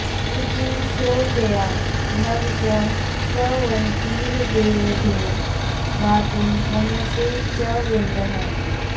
न॒व॒तिं स्रो॒त्या नव॑ च॒ स्रव॑न्तीर्दे॒वेभ्यो॑ गा॒तुं मनु॑षे च विन्दः